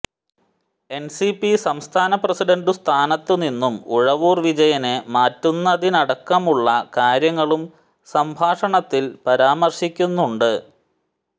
NCP സംസ്ഥാന president സ്ഥാനത്തുനിന്നും ഉഴവൂർ വിജയനെ മാറ്റുന്നതിനടക്കമുള്ള കാര്യങ്ങളും സംഭാഷണത്തിൽ പരാമർശിക്കുന്നുണ്ട്